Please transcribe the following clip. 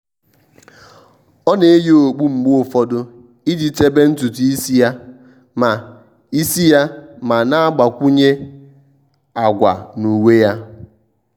ọ́ nà-eyì okpu mgbe ụfọdụ iji chèbè ntùtù ísí yá ma ísí yá ma nà-àgbakwụnye àgwà na uwe yá.